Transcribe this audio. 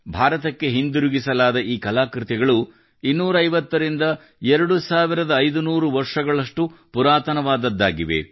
ಭಾರತಕ್ಕೆ ಹಿಂದಿರುಗಿಸಲಾದ ಈ ಕಲಾಕೃತಿಗಳು 250 ರಿಂದ 2500 ವರ್ಷಗಳಷ್ಟು ಪುರಾತಣವಾದದ್ದಾಗಿವೆ